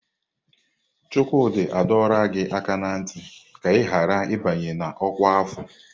Chukwudi adọla gị aka na ntị ka ị ghara ịbanye n'ọkwa afọ!